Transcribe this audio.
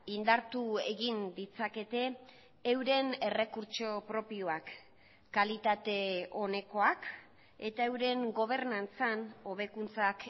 indartu egin ditzakete euren errekurtso propioak kalitate onekoak eta euren gobernantzan hobekuntzak